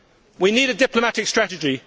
We need a diplomatic strategy